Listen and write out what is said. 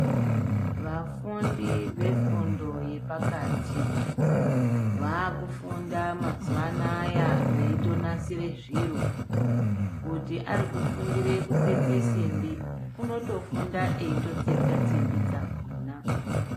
Vafundi vefundo yepakati, vaakufunda mazuwa anaya veitonasira zviro. Kuti ari kufundira kutsetsa simbi unotofunda eitotsetsa simbi dzakhona.